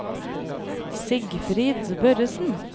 Sigfrid Børresen